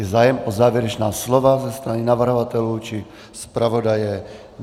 Je zájem o závěrečná slova ze strany navrhovatelů či zpravodaje?